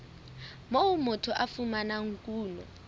moo motho a fumanang kuno